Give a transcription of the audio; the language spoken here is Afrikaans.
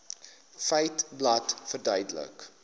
feiteblad verduidelik